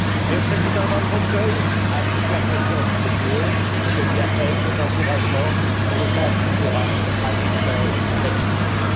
Le président Van Rompuy a toute la confiance du PPE, et je lui adresse nos encouragements pour une tâche qui sera, à l'évidence, très difficile.